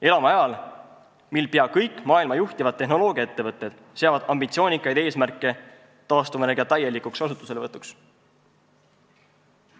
Elame ajal, mil pea kõik maailma juhtivad tehnoloogiaettevõtted seavad ambitsioonikaid eesmärke taastuvenergia täielikuks kasutuselevõtuks.